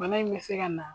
Bana in bɛ se ka na